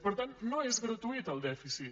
per tant no és gratuït el dèficit